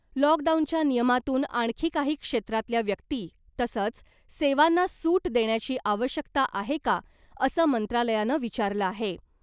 लॉकडाऊनच्या नियमातून आणखी काही क्षेत्रातल्या व्यक्ती तसंच सेवांना सूट देण्याची आवश्यकता आहे का , असं मंत्रालयानं विचारलं आहे .